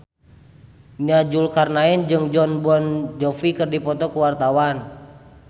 Nia Zulkarnaen jeung Jon Bon Jovi keur dipoto ku wartawan